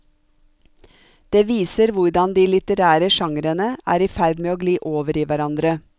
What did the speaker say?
Det viser hvordan de litterære genrene er i ferd med å gli over i hverandre.